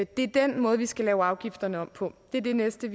det er den måde vi skal lave afgifterne om på det er det næste